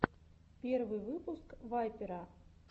первый выпуск вайпера